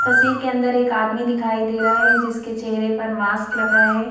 तस्वीर के अंदर एक आदमी दिखाई दे रहा है जिसके चेहरे पर मास्क लगा है।